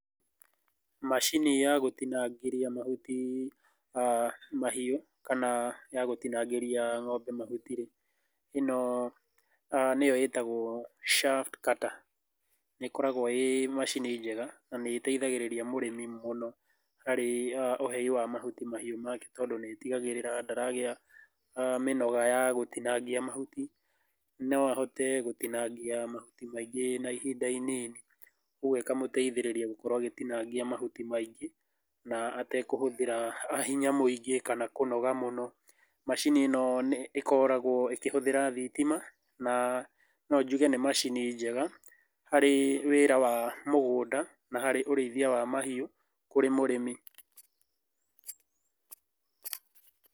Macini ya gũtinangĩria mahuti mahiũ, kana ya gũtinangĩria ng'ombe mahuti rĩ ĩno nĩyo ĩtagũo shaft cutter. Nĩ ĩkoragũo ĩ macini njega na nĩ ĩteithagĩrĩria mũrĩmi mũno harĩ ũhei wa mahuti mahiũ make tondũ nĩ ĩtigagĩrĩra mĩnoga ya gũtinangĩria mahuti, no ahote gũtinangia mahuti maingĩ na ihinda inini. Ũguo ĩkamũteithĩrĩria gũkorwo agĩtinangia mahuti maingĩ na atekũhũthĩra hinya mũingĩ kana kũnoga mũno. Macini ĩno ĩkoragũo ĩkĩhũthĩra thitima na no njuge nĩ macini njega harĩ wĩra wa mũgũnda na harĩ ũrĩithia wa mahiũ kũrĩ mũrĩmi.